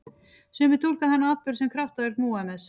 Sumir túlka þann atburð sem kraftaverk Múhameðs.